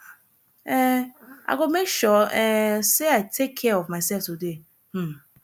um i go make sure um say i take care of myself today um